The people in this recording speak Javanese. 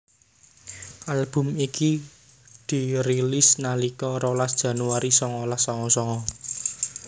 Album iki dirilis nalika rolas Januari songolas songo songo